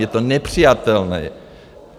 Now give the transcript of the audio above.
Je to nepřijatelné.